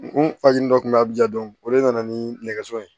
N fajugu dɔ kun bɛ ye a bɛ ja dɔn o de nana ni nɛgɛso ye